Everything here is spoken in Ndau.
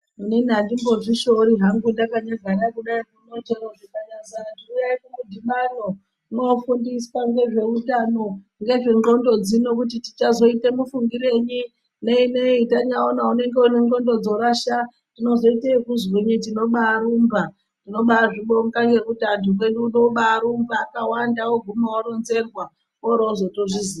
Inini andidzimbozvishoori hangu ndakanyagara kudai chero zvikanyazi anhu uyai kumudhinano mwofundiswa ngezveutano ngezvendxondo dzino kuti tichazoita mufungirenyi neinei tanyaona une ndxondo une dzorasha tinozoite ekuzwinyi inobarumba tinobazvibonga ngekuti anhu mwedu uno obarumba vakawanda voguma voronzerwa vorozotozviziya.